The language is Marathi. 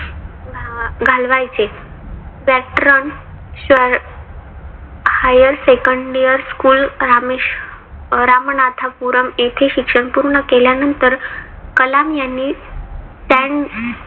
घालवायचे. पात्रोन शाळे higher second year school Rameshwar Ramanathapuram येथे शिक्षण पूर्ण केल्यानंतर कलाम यांनी